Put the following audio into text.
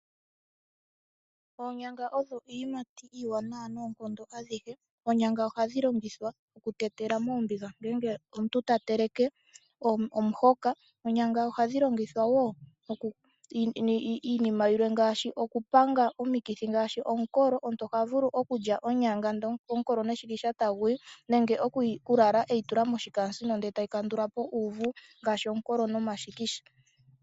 Oonyanga odho iiyimati iiwanawa noonkondo adhihe. Oonyanga ohadhi longithwa okutetelwa moombiga ngele omuntu ta teleke omuhoka. Oonyanga ohadhi longithwa wo iinima yilwe ngaashi oku panga omikithi ngaashi omukolo, omuntu oha vulu okulya onyanga ndele omukolo neshikisha taguyi nenge okulala eyi tula moshikaasino ndele etayi kandula po uuvu ngaashi omukolo nomashikisha.